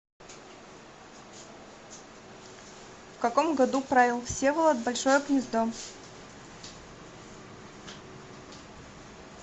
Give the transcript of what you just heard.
в каком году правил всеволод большое гнездо